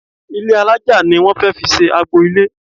Ilé alájà ni wón fẹ́ fi ṣe agbo-ilé.